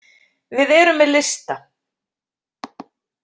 Við erum með lista.